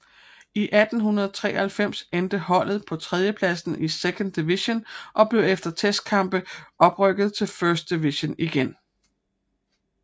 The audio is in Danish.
I 1893 endte holdet på tredjepladsen i Second Division og blev efter testkampe oprykket til First Division igen